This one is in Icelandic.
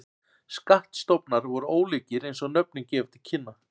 Skattstofnar voru ólíkir eins og nöfnin gefa til kynna.